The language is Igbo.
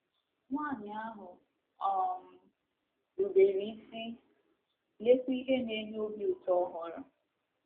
Nwanyị ahụ um rubere isi, leekwa ihe na-enye obi ụtọ ọ hụrụ!